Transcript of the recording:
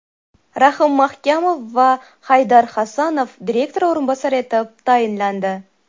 Rahim Mahkamov va Haydar Hasanov direktor o‘rinbosari etib tayinlandi.